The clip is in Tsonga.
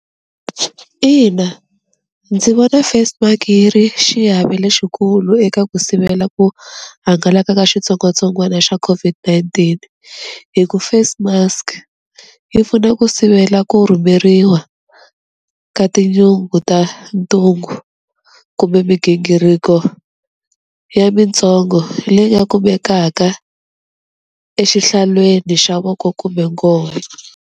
Ina ndzi vona face mark-i yi ri xiave lexikulu eka ku sivela ku hangalaka ka xitsongwatsongwana xa COVID-19, hi ku face mask yi pfuna ku sivela ku rhumeriwa ka tinyungu ta ntungu kumbe migingiriko ya mintsongo leyi nga kumekaka exihlalweni xa voko kumbe .